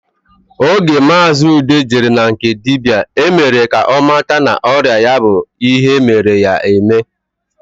Oge maazi Ude jere na nke dibịa, e mere ka ọ mata na ọrịa ya bụ ihe e mere ya eme